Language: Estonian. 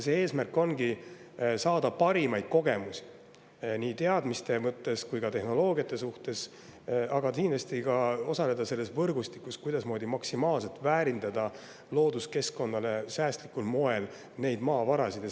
Eesmärk ongi saada parimaid kogemusi nii teadmiste mõttes kui ka tehnoloogiate suhtes, aga kindlasti ka osaleda selles võrgustikus, kuidasmoodi looduskeskkonnale säästlikul moel maksimaalselt neid maavarasid väärindada.